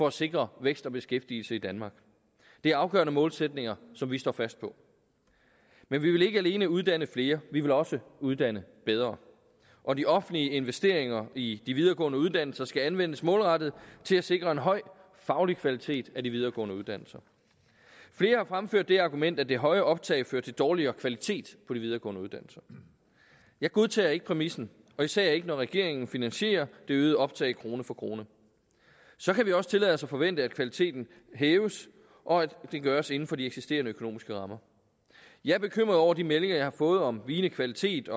at sikre vækst og beskæftigelse i danmark det er afgørende målsætninger som vi står fast på men vi vil ikke alene uddanne flere vi vil også uddanne bedre og de offentlige investeringer i de videregående uddannelser skal anvendes målrettet til at sikre en høj faglig kvalitet af de videregående uddannelser flere har fremført det argument at det høje optag fører til dårligere kvalitet på de videregående uddannelser jeg godtager ikke præmissen og især ikke når regeringen finansierer det øgede optag krone for krone så kan vi også tillade os at forvente at kvaliteten hæves og at det gøres inden for de eksisterende økonomiske rammer jeg er bekymret over de meldinger jeg har fået om vigende kvalitet